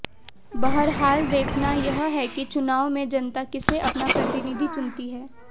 बहरहाल देखना यह है कि चुनाव में जनता किसे अपना प्रतिनिधि चुनती है